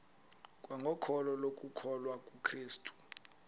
kwangokholo lokukholwa kukrestu